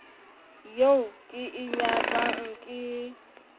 eo ke e nyatsang ke